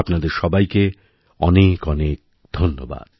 আপনাদের সবাইকে অনেকঅনেক ধন্যবাদ